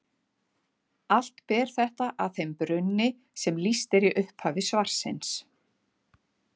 Allt ber þetta að þeim brunni sem lýst er í upphafi svarsins.